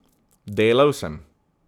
Delal sem.